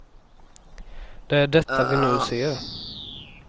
Det är detta vi nu ser.